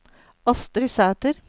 Astrid Sæter